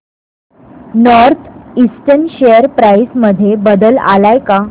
north eastern share price मध्ये बदल आलाय का